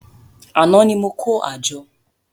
Àná ni mo kó àjọ